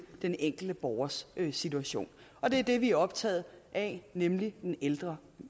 den enkelte borgers situation og det er det vi er optaget af nemlig det ældre